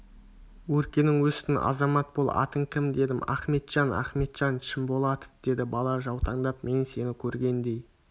өркенің өсін азамат бол атың кім дедім ахметжан ахметжан шымболатов деді бала жаутаңдап мен сені көргендей